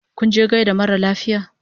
Kinje gaida mara lafiya?